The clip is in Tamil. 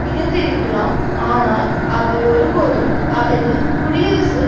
இருந்திருக்கலாம் ஆனால் அவர் ஒருபோதும் அவரின் குடியரசு